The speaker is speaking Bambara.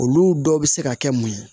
Olu dɔw bɛ se ka kɛ mun ye